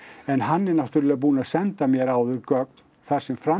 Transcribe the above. en hann er náttúrulega búinn að senda mér áður gögn þar sem fram